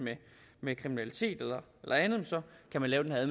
med kriminalitet eller andet kan lave den her